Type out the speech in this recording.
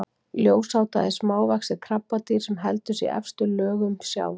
Ljósáta er smávaxið krabbadýr sem heldur sig í efstu lögum sjávar.